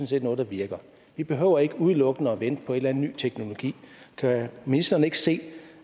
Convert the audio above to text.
set noget der virker vi behøver ikke udelukkende at vente på en eller anden ny teknologi kan ministeren ikke se